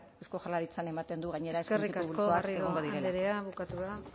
eusko jaularitzak ematen du gainera eskerrik asko garrido andrea bukatu da